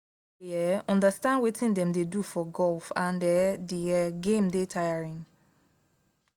i no dey um understand wetin dem dey do for golf and um the um game dey tiring